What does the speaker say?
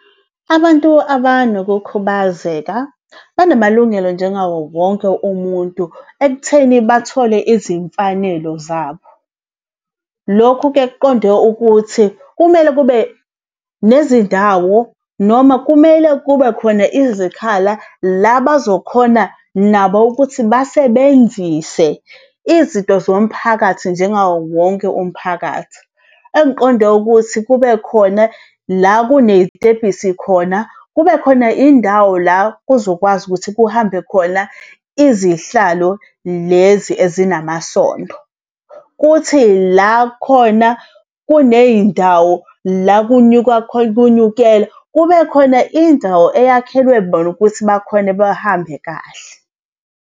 Abantu abanokukhubazeka banamalungelo njengawo wonke umuntu ekutheni bathole izimfanelo zabo. Lokhu-ke kuqonde ukuthi kumele kube nezindawo noma kumele kube khona izikhala la bazokhona nabo ukuthi basebenzise izinto zomphakathi njengawo wonke umphakathi. Engiqonde ukuthi kube khona la kuney'tebhisi khona, kubekhona indawo la kuzokwazi ukuthi kuhambe khona izihlalo lezi ezinamasondo. Kuthi la khona, kuney'ndawo la kunyuka kunyukela, kube khona indawo eyakhelwe bona ukuthi bakhone bahambe kahle.